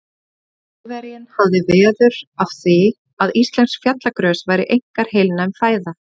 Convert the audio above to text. Þjóðverjinn hafði veður af því, að íslensk fjallagrös væru einkar heilnæm fæða.